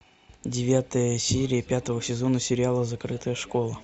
девятая серия пятого сезона сериала закрытая школа